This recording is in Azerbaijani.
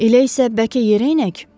Elə isə bəlkə yerə enək?